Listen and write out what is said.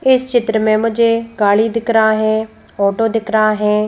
इस चित्र में मुझे गाड़ी दिख रहा है फोटो दिख रहा है।